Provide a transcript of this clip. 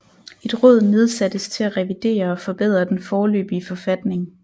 Et råd nedsattes til at revidere og forbedre den foreløbige forfatning